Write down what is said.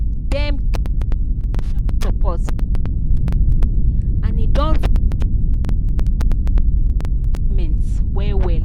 dem get financial support but e no plenty and e don reduce their old people mortgage payments well well.